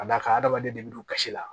Ka d'a kan adamaden de bɛ don kasi la